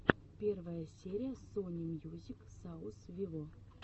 первая серия сони мьюзик саус виво